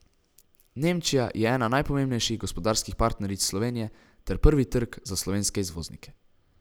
Nemčija je ena najpomembnejših gospodarskih partneric Slovenije ter prvi trg za slovenske izvoznike.